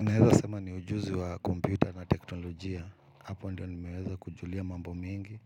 Naeza sema ni ujuzi wa kompyuta na teknolojia, hapo ndio nimeweza kujulia mambo mingi,